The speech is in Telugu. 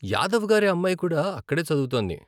యాదవ్ గారి అమ్మాయి కూడా అక్కడే చదువుతోంది.